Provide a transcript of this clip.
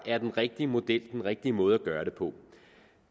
er den rigtige model den rigtige måde at gøre det på